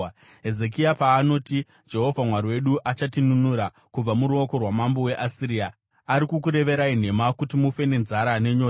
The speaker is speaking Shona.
Hezekia paanoti, ‘Jehovha Mwari wedu achatinunura kubva muruoko rwamambo weAsiria,’ ari kukureverai nhema kuti mufe nenzara nenyota.